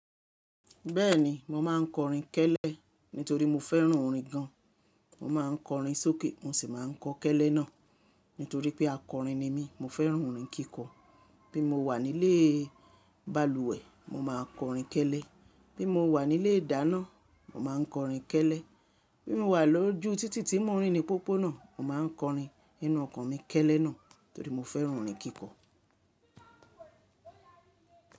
Bẹ́ẹ̀ni, mo máa ń kọrin kẹ́lẹ́ nítorí mo fẹ́ràn orin gan-an. Mo máa ń kọrin sókè, mo sì máa ń kọ kẹ́lẹ́ náà nítorí pé akọrin ni mí. Mo fẹ́ràn orin kíkọ. Bí mo wà nílé balùwẹ̀, mo máa kọrin kẹ́lẹ́. Bí mo wà nílé ìdáná, mo máa ń kọrin kẹ́lẹ́. Bí mo wà lójú títì tí mò ń rìn ní pópónà, mo máa ń kọrin inú ọkọ̀ mi kẹ́lẹ́ náà torí mo fẹ́ràn orin kíkọ.